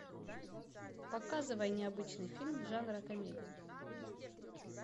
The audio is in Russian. показывай необычный фильм жанра комедия